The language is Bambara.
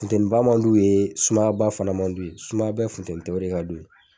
Funteniba man d'u ye sumayaba fana man d'u ye sumaba funtɛni tɛ yɔrɔ min ka d'u ye